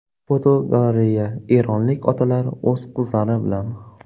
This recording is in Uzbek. Fotogalereya: Eronlik otalar o‘z qizlari bilan.